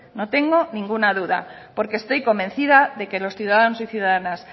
no tengo ninguna duda porque estoy convencida de que los ciudadanos y ciudadanas